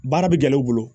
Baara bɛ gɛlɛ u bolo